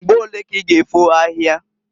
Mgbo olee ka i g' efo ahia?